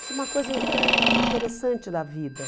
Isso é uma coisa ãh interessante da vida.